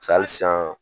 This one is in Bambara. hali sisan